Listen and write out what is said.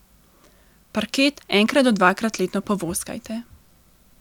Parket enkrat do dvakrat letno povoskajte.